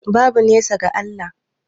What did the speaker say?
Babu nesa ga Allah